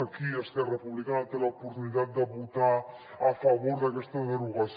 aquí esquerra republicana té l’oportunitat de votar a favor d’aquesta derogació